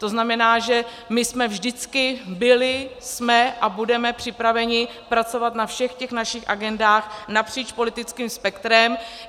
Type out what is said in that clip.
To znamená, že my jsme vždycky byli, jsme a budeme připraveni pracovat na všech těch našich agendách napříč politickým spektrem.